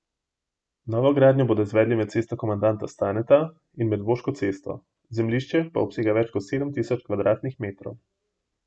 Novogradnjo bodo izvedli med Cesto komandanta Staneta in Medvoško cesto, zemljišče pa obsega več kot sedem tisoč kvadratnih metrov.